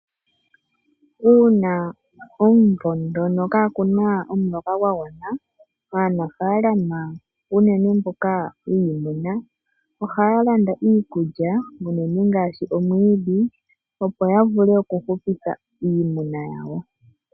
Uuna omvula ngono kaa kuna omuloka gwa gwana uunafaalama unene mboka wiimuna ohaya landa iikulya unene ngaashi omwiidhi opo ya vule oku hupitha iimuna yawo.